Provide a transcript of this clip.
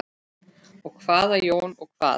Og hvað Jón, og hvað?